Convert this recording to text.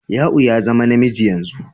Ya'u ya zama namiji yanzu.